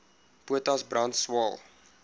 potas brand swael